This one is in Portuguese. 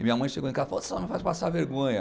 E minha mãe chegou em casa e falou, faz passar vergonha.